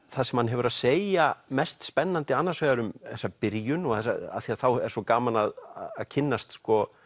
það sem hann hefur að segja mest spennandi annars vegar um þessa byrjun af því þá er svo gaman að kynnast